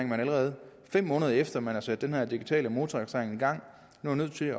man allerede fem måneder efter at man har sat den her digitale motorregistrering i gang nu er nødt til